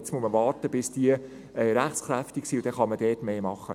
Jetzt muss man warten, bis diese rechtskräftig sind, danach kann man dort mehr machen.